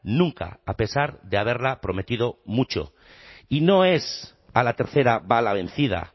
nunca a pesar de haberla prometido mucho y no es a la tercera va la vencida